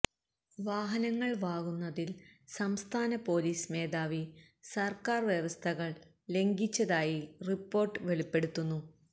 വാഹനങ്ങള് വാങ്ങുന്നതില് സംസ്ഥാന പോലീസ് മേധാവി സര്ക്കാര് വ്യവസ്ഥകള് ലംഘിച്ചതായി റിപ്പോര്ട്ട് വെളിപ്പെടുത്തുന്നു